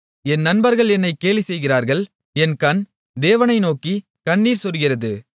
என் நண்பர்கள் என்னை கேலி செய்கிறார்கள் என் கண் தேவனை நோக்கிக் கண்ணீர் சொரிகிறது